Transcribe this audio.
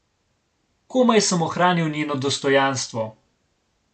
Komaj sem ohranil njeno dostojanstvo.